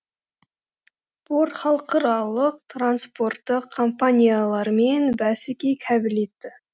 порт халықаралық транспорттық компаниялармен бәсекеге қабілетті